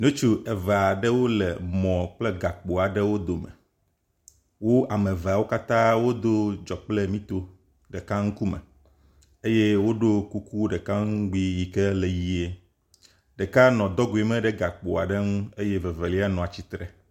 Ŋutsu eve aɖewo nɔ mɔ kple gakpo aɖewo dome, wome eveawo wodo dzo kple mito ɖeka ŋku me eye woɖo kuku ɖeka ŋugbi yi ke le ʋie, ɖeka nɔ dogoe me ɖe gakpoa nu eye ɖeka nɔ atsitre